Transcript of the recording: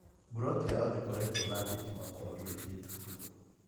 Buloti yao ndĩkoretwo na thitima kwa mĩeri itatũ.